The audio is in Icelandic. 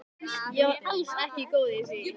Ég var alls ekki góð í því.